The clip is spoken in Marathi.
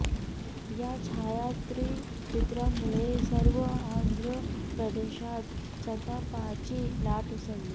या छायाचित्रामुळे सर्व आंध्र प्रदेशात संतापाची लाट उसळली